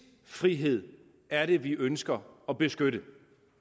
frihed er det vi ønsker at beskytte